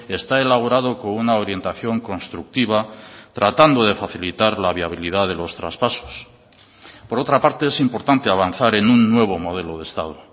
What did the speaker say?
está elaborado con una orientación constructiva tratando de facilitar la viabilidad de los traspasos por otra parte es importante avanzar en un nuevo modelo de estado